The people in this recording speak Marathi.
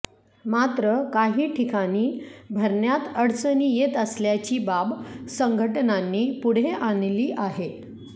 मात्र काही ठिकाणी भरण्यात अडचणी येत असल्याची बाब संघटनांनी पुढे आणली आहे